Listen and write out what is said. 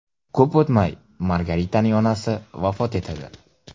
Ko‘p o‘tmay Margaritaning onasi vafot etadi.